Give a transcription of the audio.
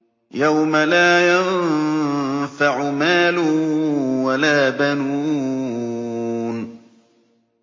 يَوْمَ لَا يَنفَعُ مَالٌ وَلَا بَنُونَ